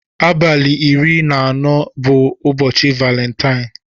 Abali iri na anọ bu ụbọchi balentie.